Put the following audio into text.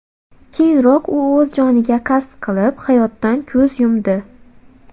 Keyinroq u o‘z joniga qasd qilib, hayotdan ko‘z yumdi .